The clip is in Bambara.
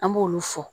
An b'olu fɔ